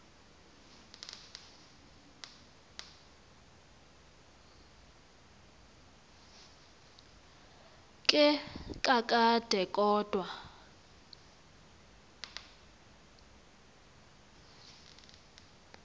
ke kakade kodwa